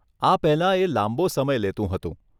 આ પહેલાં એ લાંબો સમય લેતું હતું.